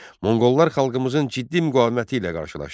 Monqollar xalqımızın ciddi müqaviməti ilə qarşılaşdı.